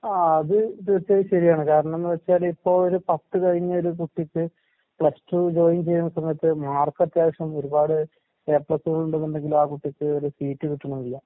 ആഹ് അത് തീർച്ചയായും ശെരിയാണ് കാരണംന്ന് വെച്ചാലിപ്പോ ഒരു പത്ത് കഴിഞ്ഞൊരു കുട്ടിക്ക് പ്ലസ് ടു ജോയിൻ ചെയ്യുന്ന സമയത്ത് മാർക്കത്ത്യാവശ്യം ഒരുപാട് എ പ്ലസുകൾ ഉണ്ട്ന്നുണ്ടെങ്കിലും ആ കുട്ടിക്ക് ഒരു സീറ്റ് കിട്ടണില്ല.